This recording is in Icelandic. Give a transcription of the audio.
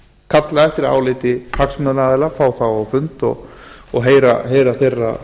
kalla eftir áliti hagsmunaaðila fá þá á fund og heyra skoðanir þeirra